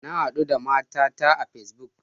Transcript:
Na hadu da matata a Facebook.